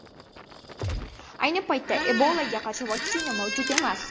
Ayni paytda Ebolaga qarshi vaksina mavjud emas.